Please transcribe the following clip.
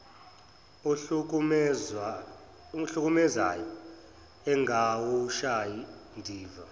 ohlukumezayo engawushayi ndiva